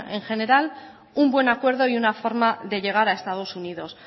en general un buen acuerdo y una buena forma de llegar a estados unidos